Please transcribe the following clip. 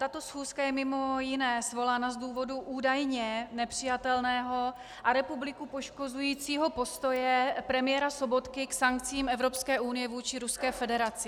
Tato schůzka je mimo jiné svolána z důvodu údajně nepřijatelného a republiku poškozujícího postoje premiéra Sobotky k sankcím Evropské unie vůči Ruské federaci.